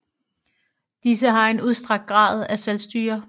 Disse har en udstrakt grad af selvstyre